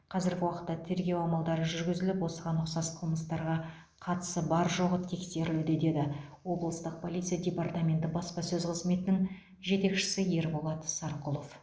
қазіргі уақытта тергеу амалдары жүргізіліп осыған ұқсас қылмыстарға қатысы бар жоғы тексерілуде деді облыстық полиция департаменті баспасөз қызметінің жетекшісі ерболат сарқұлов